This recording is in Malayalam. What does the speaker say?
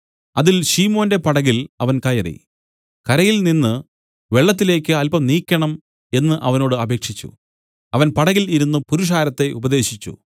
അതിൽ ശിമോന്റെ പടകിൽ അവൻ കയറി കരയിൽ നിന്നു വെള്ളത്തിലേക്ക് അല്പം നീക്കേണം എന്നു അവനോട് അപേക്ഷിച്ചു അവൻ പടകിൽ ഇരുന്നു പുരുഷാരത്തെ ഉപദേശിച്ചു